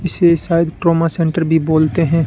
इसे शायद trauma centre भी बोलते हैं।